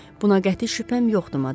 Buna qəti şübhəm yoxdu madam.